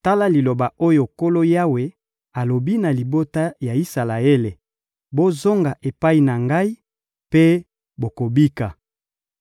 Tala liloba oyo Nkolo Yawe alobi na libota ya Isalaele: «Bozonga epai na Ngai mpe bokobika!